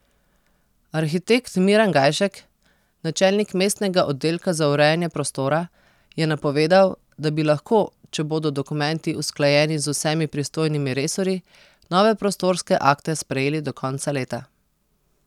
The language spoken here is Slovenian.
Arhitekt Miran Gajšek, načelnik mestnega oddelka za urejanje prostora, je napovedal, da bi lahko, če bodo dokumenti usklajeni z vsemi pristojnimi resorji, nove prostorske akte sprejeli do konca leta.